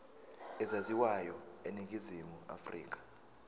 ezaziwayo eningizimu afrika